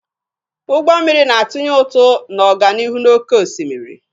Ụgbọ mmiri na-atụnye ụtụ na ọganihu n'oké osimiri.